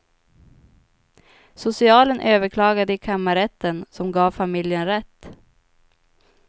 Socialen överklagade i kammarrätten, som gav familjen rätt.